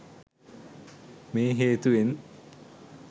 මේ හේතුවෙන්